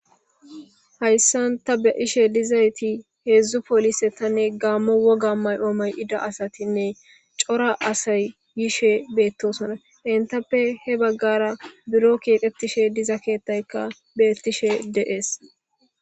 Hayissani ta beyashe dizayisi hedzu polisetanne gammo wogga mayidda assatinne corra assayi hemetishe bettosona etta issi bagaraka buro kexetishe diza kethayi betesi.